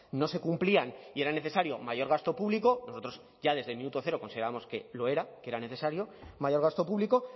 no se cumplían y era necesario mayor gasto público nosotros ya desde el minuto cero considerábamos que lo era que era necesario mayor gasto público